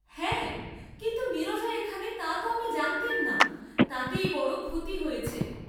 হ্যাঁ, কিন্তু নীরজা এখানে তাত আমি জানতেম না, তাতে বড়ই ক্ষতি হয়েছে।